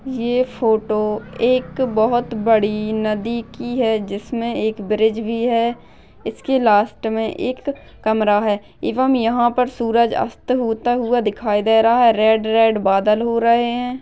ये फोटो एक बहुत बड़ी नदी की है जीसमे एक ब्रिज भी है इसके लास्ट मे एक कमरा है एवंम यहा पर सूरज अस्त होता हुआ दिखाई दे रहा है रेड रेड बादल हो रहे है।